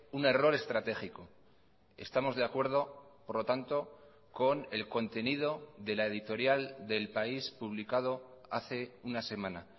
un error estratégico estamos de acuerdo por lo tanto con el contenido de la editorial de el país publicado hace una semana